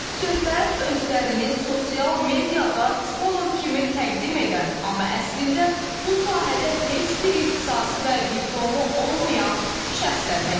Söhbət özlərini sosial mediada psixoloq kimi təqdim edən, amma əslində bu sahədə heç bir ixtisası və diplomu olmayan şəxslərdən gedir.